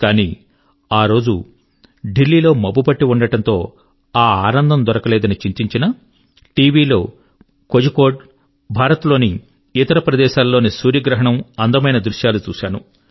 కానీ ఆ రోజు దిల్లీలో మబ్బు పట్టి ఉండడంతో ఆ ఆనందం దొరకలేదని చింతించినా టీవిలో కోఝీకోడ్ మరియు భారత్ లోని ఇతర ప్రదేశాల లోని సూర్యగ్రహణం యొక్క అందమైన దృశ్యాలు చూశాను